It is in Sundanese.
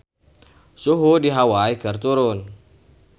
Suhu di Hawai keur turun